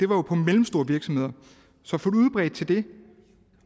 var på mellemstore virksomheder så at få det udbredt til det